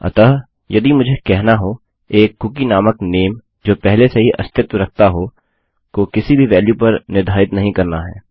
अतः यदि मुझे कहना हो एक कुकी नामक नामे जो पहले से ही अस्तित्व रखता हो को किसी भी वेल्यु पर निर्धारित नहीं करना है